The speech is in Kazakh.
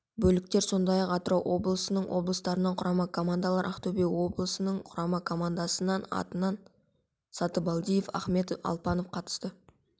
бөліктер сондай-ақ атырау облысының облыстарының құрама командалары ақтөбе облысының құрама командасының атынан сатыбалдиев ахметов алпанов қатысты